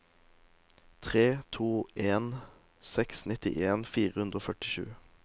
tre to en seks nittien fire hundre og førtisju